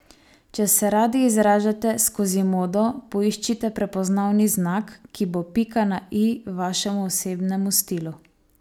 Če se radi izražate skozi modo, poiščite prepoznavni znak, ki bo pika na i vašemu osebnemu stilu.